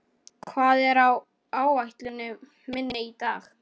Polly, hvað er á áætluninni minni í dag?